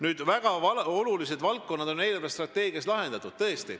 Nüüd, väga olulised valdkonnad on eelarvestrateegias kaetud.